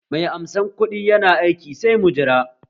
Mai amsa kuɗin yana aiki, sai mun jira